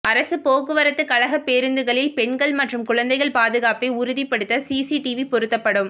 அரசு போக்குவரத்து கழக பேருந்துகளில் பெண்கள் மற்றும் குழந்தைகள் பாதுகாப்பை உறுதிபடுத்த சிசிடிவி பொருத்தப்படும்